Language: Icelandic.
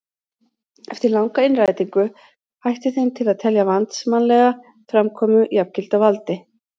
Eftir langa innrætingu hætti þeim til að telja valdsmannslega framkomu jafngilda valdi.